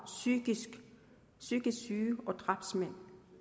psykisk psykisk syge og drabsmænd